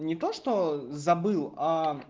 не то что забыл